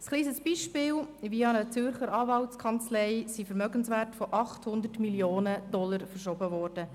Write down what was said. Ein kleines Beispiel ist, wie via eine Zürcher Anwaltskanzlei Vermögenswerte von 800 000 Mio. Dollar verschoben wurden.